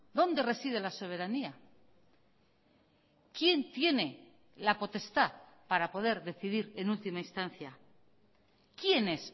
dónde reside la soberanía quién tiene la potestad para poder decidir en última instancia quién es